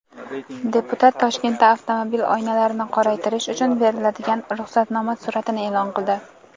Deputat Toshkentda avtomobil oynalarini qoraytirish uchun beriladigan ruxsatnoma suratini e’lon qildi.